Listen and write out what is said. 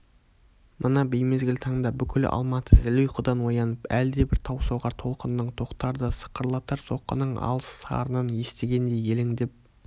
мына беймезгіл таңда бүкіл алматы зіл ұйқыдан оянып әлдебір таусоғар толқынның тақтарды сықырлатар соққының алыс сарынын естігендей елеңдеп